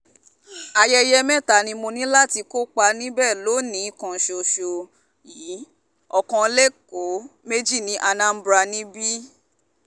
ayẹyẹ mẹ́ta ni mo ní láti kópa níbẹ̀ lónì-ín kan ṣoṣo yìí ọ̀kan lẹ́kọ̀ọ́ méjì ní anambra níbí